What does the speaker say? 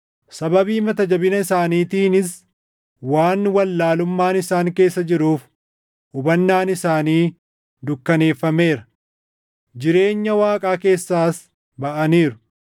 Sababii mata jabina isaaniitiinis waan wallaalummaan isaan keessa jiruuf hubannaan isaanii dukkaneeffameera; jireenya Waaqaa keessaas baʼaniiru.